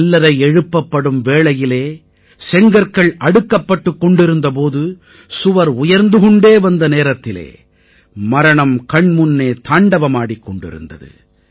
கல்லறை எழுப்பப்படும் வேளையிலே செங்கற்கள் அடுக்கப்பட்டுக் கொண்டிருந்த போது சுவர் உயர்ந்து கொண்டே வந்த நேரத்திலே மரணம் கண் முன்னே தாண்டவமாடிக் கொண்டிருந்தது